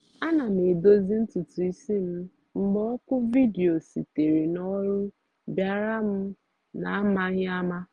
ana m edozi ntutu isi m mgbe oku vidio sitere n’ọrụ bịara m n’amaghị ama